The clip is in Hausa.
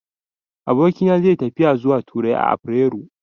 Abokina zai yi tafiya zuwa Turai a afirairu.